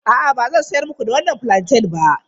A'a, ba zan sayar muku da wannan fulanten ba.